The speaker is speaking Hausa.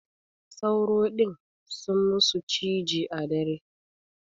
Sauro din sun musu ciji a dare.